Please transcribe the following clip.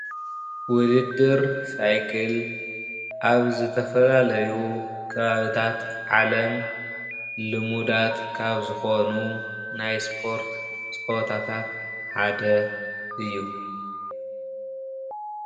ውድድር ሳይክል ኣብ ዝተፈላለዩ ከባቢታት ዓለም ልሙዳት ካብ ዝኮኑ ናይ እስፖርት ፀወታታት ሓደ እዩ፡፡